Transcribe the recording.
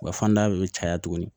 Wa fanda de bɛ caya tuguni